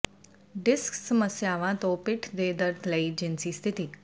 disc ਸਮੱਸਿਆਵਾਂ ਤੋਂ ਪਿੱਠ ਦੇ ਦਰਦ ਲਈ ਜਿਨਸੀ ਸਥਿਤੀ